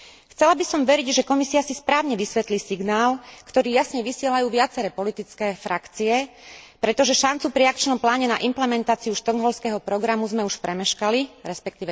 Chcela by som veriť, že Komisia si správne vysvetlí signál, ktorý jasne vysielajú viaceré politické frakcie, pretože šancu pri akčnom pláne na implementáciu Štokholmského programu sme už premeškali, resp.